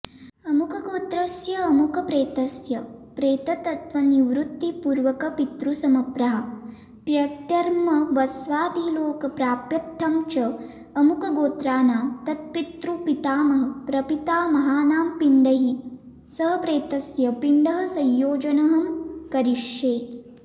अमुकगोत्रस्य अमुकप्रेतस्य प्रेतत्वनिवृत्तिपूर्वकपितृसमप्राप्त्यर्थं वस्वादिलोक प्राप्त्र्थं च अमुकगोत्रणां तत्पितृपितामहप्रपितामहानांपिण्डैः सहप्रेतस्य पिण्ड संयोजनं करिष्ये